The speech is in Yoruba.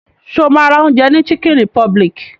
Ṣo ma ra oúnjẹ ní chicken republic?